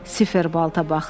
Sifer blata baxdı.